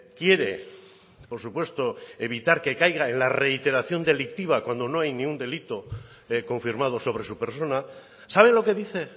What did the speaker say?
quiere por supuesto evitar que caiga en la reiteración delictiva cuando no hay ningún delito confirmado sobre su persona sabe lo que dice